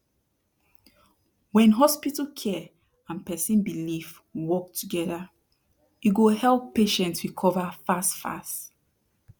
wen hospital care and person belief work togeda e go help patient recova fast fast